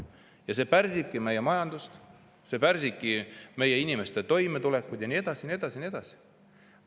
Ja see pärsibki meie majandust, see pärsibki meie inimeste toimetulekut ja nii edasi ja nii edasi ja nii edasi.